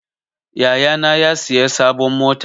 Yaya na ya siya sabon mota.